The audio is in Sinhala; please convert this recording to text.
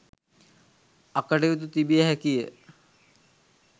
අකටයුතු තිබිය හැකිය.